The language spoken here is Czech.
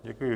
Děkuji.